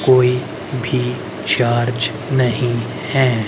कोई भी चार्ज नहीं है।